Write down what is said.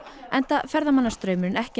enda ferðamannastraumurinn ekki